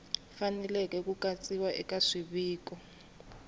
faneleke ku katsiwa eka swiviko